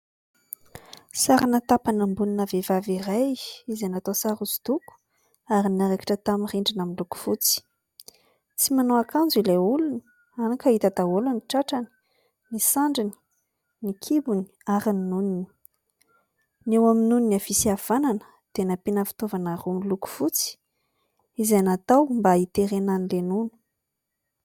Sariny tapan'amboniny ny vehivavy iray izay natao sary hoso-doko ary narakitra tamin'ny rindrina miloko fotsy, tsy manao akanjo ilay olona ka hita daholo ny tratrany, ny sandriny, ny kibony ary ny nonony eo amin'ny nonony avy sy avanana dia nampiana fitaovana miloko fotsy, izay natao mba hiterenany ilay nono.